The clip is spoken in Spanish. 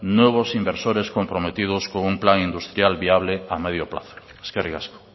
nuevos inversores comprometidos con plan industrial viable a medio plazo eskerrik asko